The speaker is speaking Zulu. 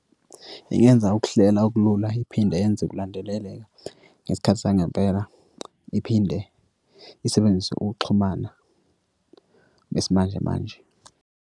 Ingenza ukuhlela ukulula iphinde yenze ukulandeleleka ngesikhathi sangempela, iphinde isebenzise ukuxhumana besimanjemanje.